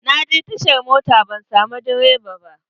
Na je tashar mota ban samu direban ba.